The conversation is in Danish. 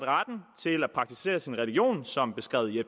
praktisere sin religion som beskrevet i